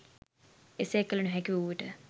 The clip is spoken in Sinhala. එසේ කළ නොහැකිවූ විට